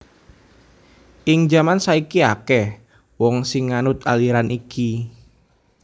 Ing jaman saiki akèh wong sing nganut aliran iki